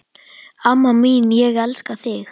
Amma mín, ég elska þig.